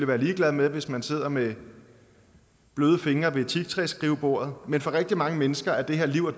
være ligeglad med hvis man sidder med bløde fingre ved teaktræsskrivebordet men for rigtig mange mennesker er det her liv og